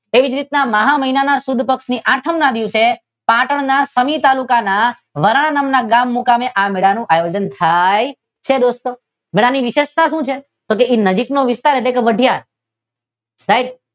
એવી જ રીતના મહા મહિનાની સુદ પક્ષના આઠમ ની દિવસે પાટણ ના શનિ તાલુકા માં વરાન નામના ગામ મુકામે આ વરાણાનો મેળાનું આયોજન થાય છે. દોસ્તો મેળાની વિશેષતા શું છે? તો એની નજીકનો વિસ્તાર એટલે વાઢિયાર